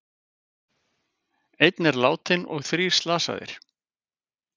Einn er látinn og þrír slasaðir